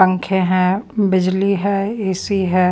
पंखे हैं बिजली है ए_सी है।